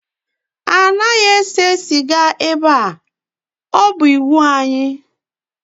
Anaghị ese sịga ebe a, ọ bụ iwu anyị